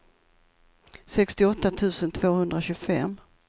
sextioåtta tusen tvåhundratjugofem